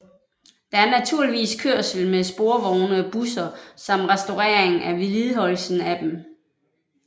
Der er naturligvis kørsel med sporvogne og busser samt restaureringen og vedligeholdelsen af dem